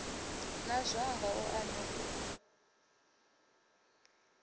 na zwanga u a ḓi